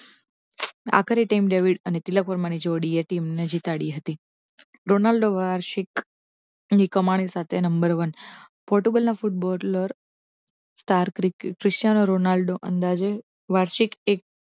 આખરે team David અને તિલક વર્મા ની જોડીએ team ને જીતાડી હતી રોનાલ્ડો વાર્ષિક કમાણી સાથે નંબર one પોર્ટુગલના ફૂટબોલર star ક્રિશ્ચિયાનો રોનાલ્ડો અંદાજે વાર્ષિક એક